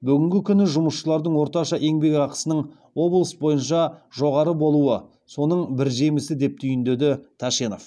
бүгінгі күні жұмысшылардың орташа еңбекақысының облыс бойынша жоғары болуы соның бір жемісі деп түйіндеді тәшенов